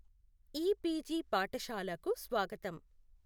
EPG పాఠషాలాకు స్వాగతం.